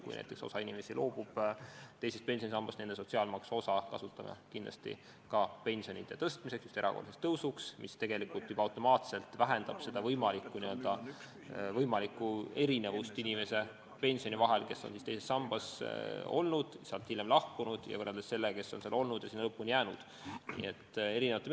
Kui näiteks osa inimesi loobub teisest pensionisambast, siis nende sotsiaalmaksu osa kasutame kindlasti ka pensionide tõstmiseks, just erakordseks tõusuks, mis tegelikult automaatselt vähendab võimalikku erinevust teise sambaga liitunud ja sellest hiljem loobunud inimese pensioni ning sellega liitunud ja lõpuni sinna jäänud inimese pensioni vahel.